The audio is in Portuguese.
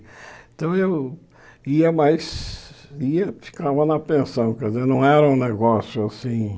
Então eu ia, mas ia ficava na pensão, quer dizer, não era um negócio assim.